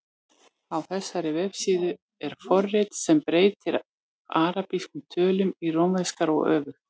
Á þessari vefsíðu er forrit sem breytir arabískum tölum í rómverskar og öfugt.